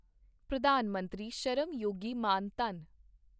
ਪ੍ਰਧਾਨ ਮੰਤਰੀ ਸ਼ਰਮ ਯੋਗੀ ਮਾਨ ਧਨ